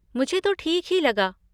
मुझे तो ठीक ही लगा।